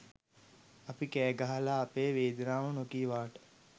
අපි කෑ ගහලා අපේ වේදනාව නොකීවාට